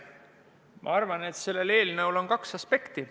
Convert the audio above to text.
Ma arvan, et selle eelnõuga on seotud kaks aspekti.